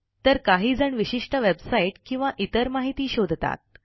तर काहीजण विशिष्ट वेबसाईट किंवा इतर माहिती शोधतात